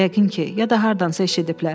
Yəqin ki, ya da hardansa eşidiblər.